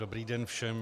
Dobrý den všem.